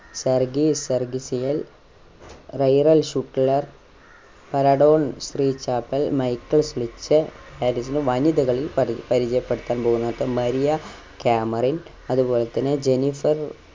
Sergei സർഗിസ്യൽ, റൈറൽ ശുക്ളർ പരഡോൺ ഫ്രീചാപ്പൽ, മൈക്കിൾ ഫിലിപ്ചെ അടുത്ത വനിതകളിൽ പരി പരിചയപ്പെടുത്താൻ പോകുന്നത് മരിയ കാമറിൻ അതുപോലെ തന്നെ ജെന്നിഫർ